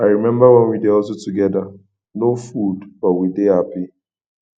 i rememba wen we dey hustle togeda no food but we dey hapi